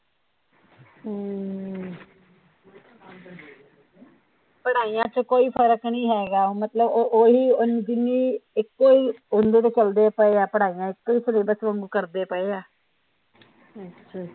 ਪੜਾਈਆ ਚ ਕੋਈ ਫਰਕ ਨਹੀਂ ਹੇਗਾ ਮਤਲਬ ਉਹ ਓਹੀ ਜਿੰਨੀ ਇਕੋ ਈ ਚਲਦੇ ਪਏ ਆ ਪੜਾਈਆ ਇਕੋ ਈ ਸਿਲੇਬਸ ਵਾਂਗੂ ਕਰਦੇ ਪਏ ਆ